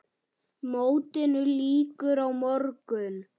Mótinu lýkur á morgun.